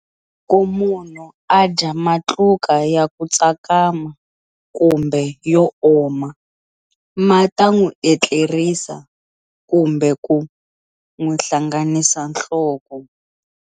Loko munhu a dya matluka ya ku tsakama kumbe yo oma ma ta n'wi etlerisa kumbe ku n'wi hlanganisa nhloko.